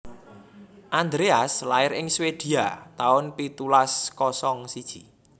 Andreas lair ing Swedia taun pitulas kosong siji